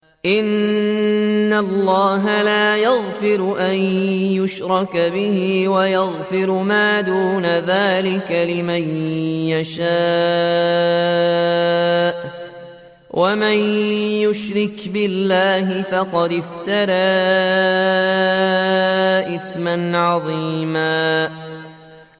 إِنَّ اللَّهَ لَا يَغْفِرُ أَن يُشْرَكَ بِهِ وَيَغْفِرُ مَا دُونَ ذَٰلِكَ لِمَن يَشَاءُ ۚ وَمَن يُشْرِكْ بِاللَّهِ فَقَدِ افْتَرَىٰ إِثْمًا عَظِيمًا